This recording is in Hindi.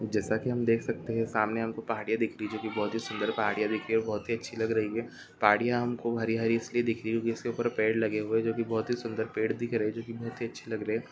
जैसा की हम देख सकते है सामने हमको पहड़िया दिख रही है जो की बहुत ही सुंदर पहड़िया दिख रही है और बहुत ही अच्छी लग रही है पहड़िया हमको हरी हरी इसलिए दिख रही है क्योंकि इसके ऊपर पेड़ लगे हुए हैजो की बहुत ही सुंदर पेड़ दिख रहे है जो की बहुत ही अच्छे लग रहे है।